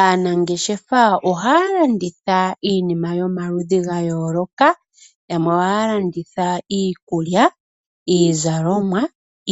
Aanangeshefa oha landitha iinima yomaludhi gayoloka. Yamwe oha landitha iikulya, iizalomwa,